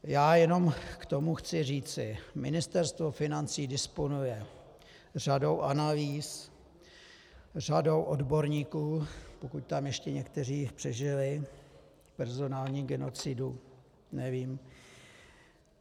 Já jenom k tomu chci říci: Ministerstvo financí disponuje řadou analýz, řadou odborníků - pokud tam ještě někteří přežili personální genocidu, nevím.